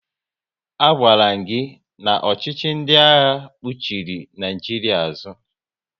A gwaram gị na ọchịchị ndị agha kpuchiri Naijiria azụ